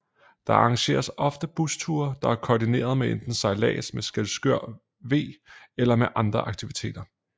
Der arrangeres ofte busture der er kordinerede med enten sejllads med Skjelskør V eller med andre aktiviteter